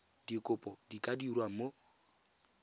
dikopo di ka dirwa mo